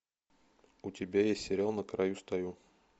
у тебя есть сериал на краю стою